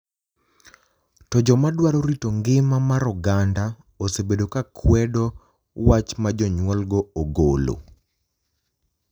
To joma dwaro rito ngima mar oganda osebedo ka kwedo wach ma jonyuolgo ogolo.